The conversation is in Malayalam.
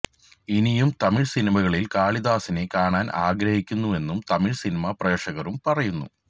ഇനിയും തമിഴ് സിനിമകളിൽ കാളിദാസിനെ കാണാൻ ആഗ്രഹിക്കുന്നുവെന്നും തമിഴ് സിനിമാ പ്രേക്ഷകരും പറയുന്നു